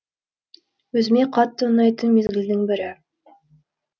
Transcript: өзіме қатты ұнайтын мезгілдің бірі